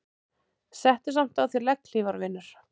Settu samt á þig legghlífar vinur.